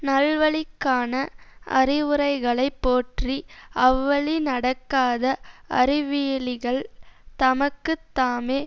நல்வழிக்கான அறிவுரைகளைப் போற்றி அவ்வழி நடக்காத அறிவியலிகள் தமக்கு தாமே